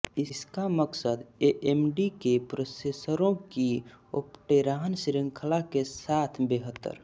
इसका मकसद एएमडी के प्रोसेसरों की ओप्टेरॉन श्रृंखला के साथ बेहतर